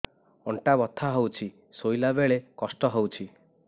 ଅଣ୍ଟା ବଥା ହଉଛି ଶୋଇଲା ବେଳେ କଷ୍ଟ ହଉଛି